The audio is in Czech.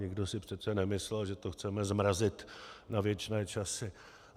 Nikdo si přece nemyslel, že to chceme zmrazit na věčné časy.